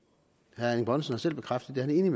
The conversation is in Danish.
herre erling bonnesen har selv bekræftet at det er